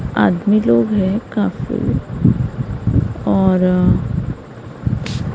आदमी लोग हैं काफी और --